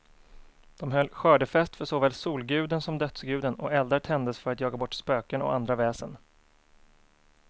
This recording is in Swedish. De höll skördefest för såväl solguden som dödsguden, och eldar tändes för att jaga bort spöken och andra väsen.